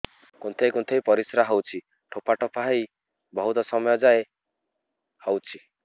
କୁନ୍ଥେଇ କୁନ୍ଥେଇ ପରିଶ୍ରା ହଉଛି ଠୋପା ଠୋପା ହେଇ ବହୁତ ସମୟ ଯାଏ ହଉଛି